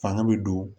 Fanga bɛ don